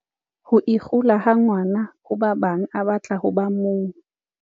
Ho ikgula ha ngwana ho ba bang a batla ho ba mong.